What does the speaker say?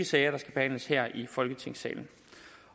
sager der skal behandles her i folketingssalen